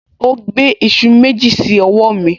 O gbé iṣu méjì sí ọwọ́ mi